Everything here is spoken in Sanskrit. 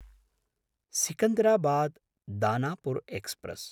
सिकन्दराबाद्–दानापुर् एक्स्प्रेस्